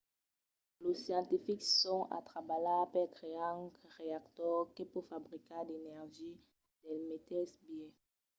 los scientifics son a trabalhar per crear un reactor que pòt fabricar d'energia del meteis biais